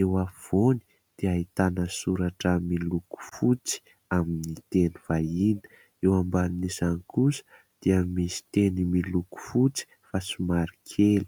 eo afovoany dia ahitana soratra miloko fotsy amin'ny teny vahiny ; eo ambanin'izany kosa dia misy teny miloko fotsy fa somary kely.